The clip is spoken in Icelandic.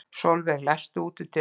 Solveig, læstu útidyrunum.